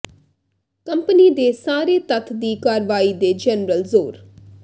company ਦੇ ਸਾਰੇ ਤੱਤ ਦੀ ਕਾਰਵਾਈ ਦੇ ਜਨਰਲ ਜ਼ੋਰ